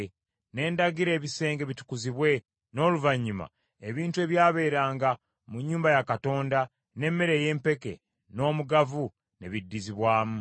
Ne ndagira ebisenge bitukuzibwe, n’oluvannyuma ebintu ebyabeeranga mu nnyumba ya Katonda, n’emmere ey’empeke, n’omugavu ne biddizibwamu.